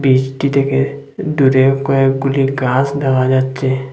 বিষ্টি থেকে দূরে কয়েকগুলি গাস দেখা যাচ্চে।